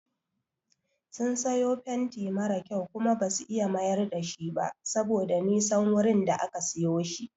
Sun siyo fenti mara kyau Kuma basu iya mayar dashi ba saboda Nisan wurin da aka siyo shi.